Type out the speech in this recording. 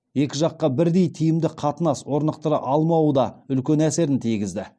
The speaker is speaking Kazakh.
екі жаққа бірдей тиімді қатынас орнықтыра алмауы да үлкен әсерін тигізді